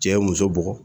Cɛ ye muso bugɔ